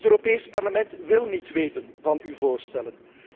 Het Europees Parlement wil niet weten van uw voorstellen.